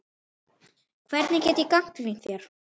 Hvernig get ég gagnrýnt þá?